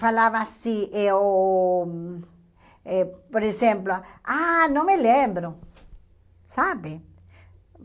Falava assim, eu eh por exemplo, ah, não me lembro, sabe?